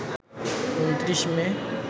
২৯ মে